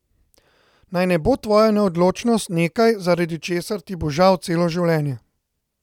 Naj ne bo tvoja neodločnost nekaj, zaradi česar ti bo žal celo življenje.